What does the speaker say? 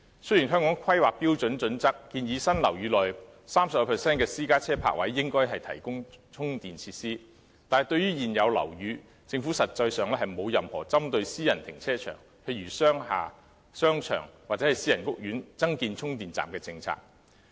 雖然《香港規劃標準與準則》建議新樓宇內 30% 的私家車泊位應提供充電設施，但對於現有樓宇，政府實際上並沒有任何針對私人停車場，例如商廈、商場或私人屋苑增建充電站的政策。